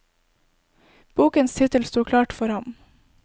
Bokens tittel sto klart for ham.